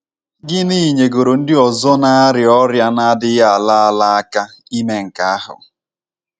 Gịnị nyegoro ndị ọzọ na - arịa ọrịa na - adịghị ala ala aka ime nke ahụ?